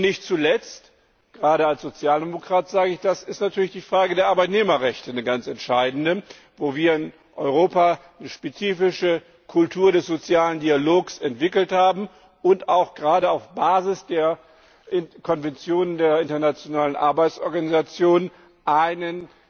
Und nicht zuletzt gerade als Sozialdemokrat sage ich das ist natürlich die Frage der Arbeitnehmerrechte eine ganz entscheidende, wo wir in Europa eine spezifische Kultur des sozialen Dialogs entwickelt haben und auch gerade auf Basis der Konventionen der Internationalen Arbeitsorganisation einen